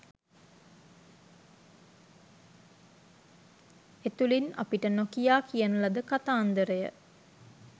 එතුලින් අපිට නොකියා කියන ලද කතාන්දරය